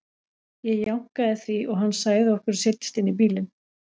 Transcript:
Ég jánkaði því og hann sagði okkur að setjast inn í bílinn.